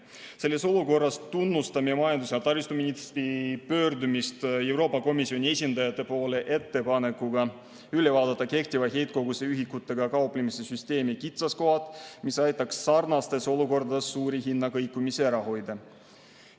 Selles olukorras tunnustame majandus‑ ja taristuministri pöördumist Euroopa Komisjoni esindajate poole ettepanekuga üle vaadata kehtiva heitkoguse ühikutega kauplemise süsteemi kitsaskohad, mis aitaks sarnastes olukordades suuri hinnakõikumisi ära hoida.